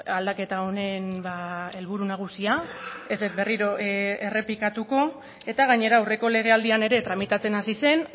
aldaketa honen helburu nagusia ez dut berriro errepikatuko eta gainera aurreko legealdian ere tramitatzen hasi zen